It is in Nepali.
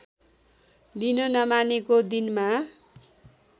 लिन नमानेको दिनमा